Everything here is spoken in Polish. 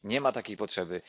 nie ma takiej potrzeby!